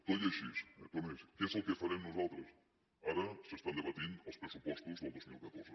tot i així què és el que farem nosaltres ara s’estan debatent els pressupostos del dos mil catorze